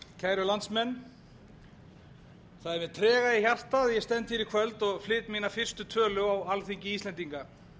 kæru landsmenn það er með trega í hjarta sem ég stend hér í kvöld og flyt mína fyrstu tölu á alþingi íslendinga ég